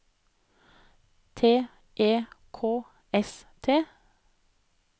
T E K S T